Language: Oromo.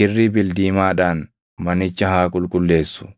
kirrii bildiimaadhaan manicha haa qulqulleessu.